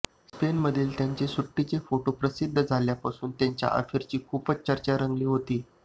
स्पेनमधील त्यांच्या सुट्टीचे फोटो प्रसिद्ध झाल्यापासून त्यांच्या अफेअरची खूपच चर्चा रंगली होती